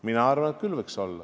Mina arvan, et võiks küll.